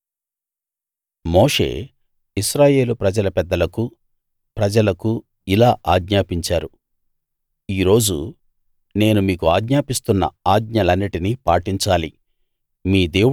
మోషే ఇశ్రాయేలు ప్రజల పెద్దలకు ప్రజలకు ఇలా ఆజ్ఞాపించారు ఈరోజు నేను మీకు ఆజ్ఞాపిస్తున్న ఆజ్ఞలన్నిటినీ పాటించాలి